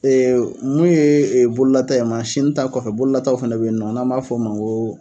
Ee mun ye bololata ye mansinita kɔfɛ bololata fɛnɛ be yen nɔn n'an b'a f'o ma go